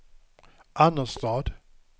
Annerstad